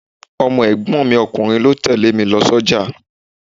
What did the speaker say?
Ọmọ ẹ̀gbọ́n mi ọkùnrin ni ó tẹle mi lọ sójà.